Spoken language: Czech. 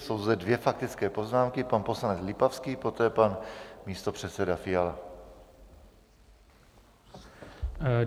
Jsou zde dvě faktické poznámky - pan poslanec Lipavský, poté pan místopředseda Fiala.